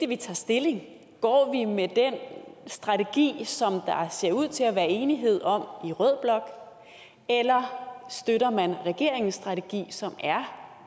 vi tager stilling går vi med den strategi som der ser ud til at være enighed om i rød blok eller støtter man regeringens strategi som er